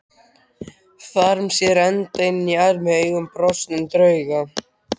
Þarm sér enda inn armi augum brostnum drauga.